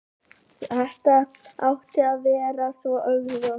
Þetta átti að vera svo augljóst.